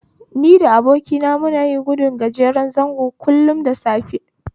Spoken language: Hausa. Ni da abokina muna gudun gajeren zango kullum da safe